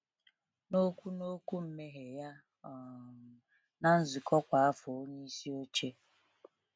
N’okwu N’okwu mmeghe ya um na nzukọ kwa afọ, onyeisi oche